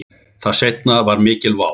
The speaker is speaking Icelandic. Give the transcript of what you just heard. Það seinna var mikil vá.